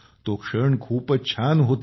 तो क्षण खूपच छान होता